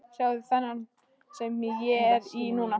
Sjáðu þennan sem ég er í núna?